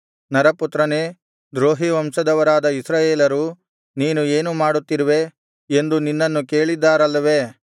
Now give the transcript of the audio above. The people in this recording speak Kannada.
ನರಪುತ್ರನೇ ದ್ರೋಹಿ ವಂಶದವರಾದ ಇಸ್ರಾಯೇಲರು ನೀನು ಏನು ಮಾಡುತ್ತಿರುವೆ ಎಂದು ನಿನ್ನನ್ನು ಕೇಳಿದ್ದಾರಲ್ಲವೆ